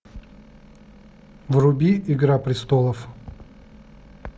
вруби игра престолов